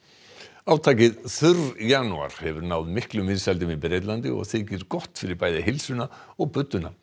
átakið þurr janúar hefur náð miklum vinsældum í Bretlandi og þykir gott fyrir bæði heilsuna og budduna